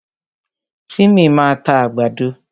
Tímì máa ta àgbàdo.